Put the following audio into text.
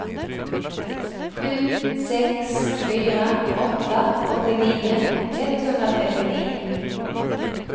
sju sex fyra åtta åttionio etthundratrettionio